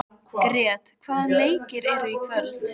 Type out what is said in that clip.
Grét, hvaða leikir eru í kvöld?